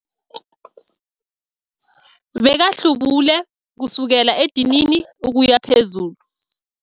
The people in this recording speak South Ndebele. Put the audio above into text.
Bekahlubule kusukela edinini ukuya phezulu.